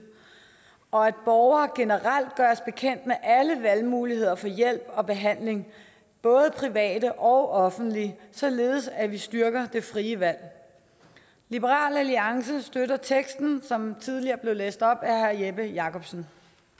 og at borgere generelt gøres bekendt med alle valgmuligheder for hjælp og behandling både private og offentlige således at vi styrker det frie valg liberal alliance støtter teksten som tidligere blev læst op af herre jeppe jakobsen